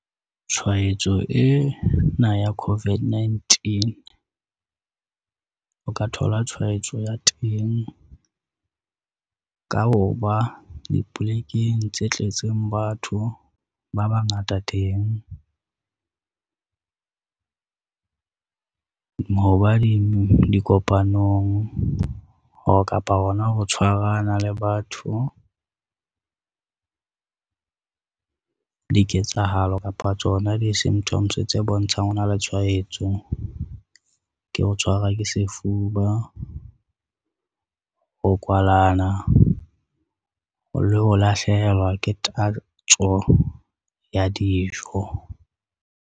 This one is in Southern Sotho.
Tshwaetso ena ya COVID-19, o ka thola tshwaetso ya teng, ka ho ba dipolekeng tse tletseng batho ba bangata teng. Dikopanong kapa hona ho tshwarana le batho, diketsahalo kapa tsona di-symptoms tse bontshang ona le tshwaetso ke ho tshwarwa ke sefuba, ho kwalana le ho lahlehelwa ke tatso ya dijo.